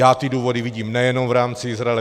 Já ty důvody vidím nejen v rámci Izraele.